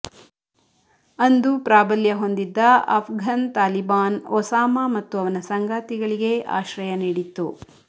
ಅಂದು ಪ್ರಾಬಲ್ಯ ಹೊಂದಿದ್ದ ಅಫ್ಘನ್ ತಾಲಿಬಾನ್ ಒಸಾಮಾ ಮತ್ತು ಅವನ ಸಂಗಾತಿಗಳಿಗೆ ಆಶ್ರಯ ನೀಡಿತ್ತು